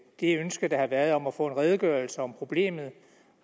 det ønske der har været om at få en redegørelse om problemet